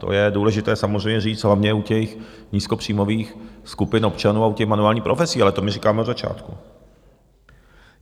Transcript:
To je důležité samozřejmě říct hlavně u těch nízkopříjmových skupin občanů a u těch manuálních profesí, ale to my říkáme od začátku.